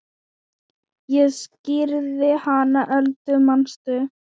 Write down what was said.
Ég skírði hana Öldu manstu.